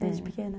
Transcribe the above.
Desde pequena?